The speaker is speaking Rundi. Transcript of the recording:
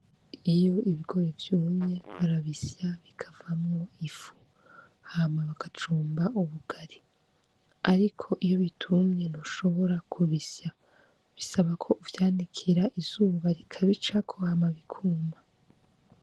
Iyo ibigori vyumye barabisya bikavamwo ifu hama bagacumba ubugari, ariko iyo bitumye ntushobora kubisya bisaba ko uvyanikira izuba rikabicako hama bikuma.